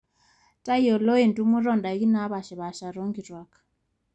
tayiolo entumoto oondaiki naapaashipaasha toonkituak